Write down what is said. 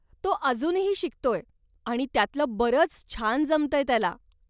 तो अजूनही शिकतोय आणि त्यातंलं बरंच छान जमतंय त्याला.